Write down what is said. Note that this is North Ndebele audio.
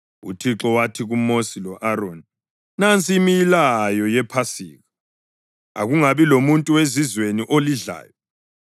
UThixo wathi kuMosi lo-Aroni, “Nansi imilayo yePhasika: Akungabi lamuntu wezizweni olidlayo.